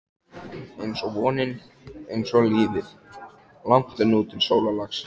einsog vonin, einsog lífið- langt er nú til sólarlags.